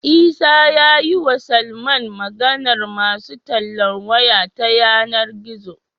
Isa yayi wa Salman Maganar masu tallan waya ta yAna gizo